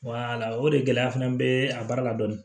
o de gɛlɛya fana be a baara la dɔɔni